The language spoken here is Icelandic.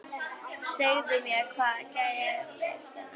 Segðu mér, hvað gerðist hérna?